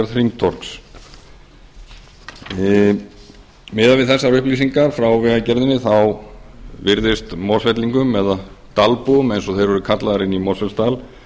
gerð hringtorgs miðað við þessar upplýsingar frá vegagerðinni virðist mosfellingum eða dalbúum eins og þeir eru kallaðir inni í mosfellsdal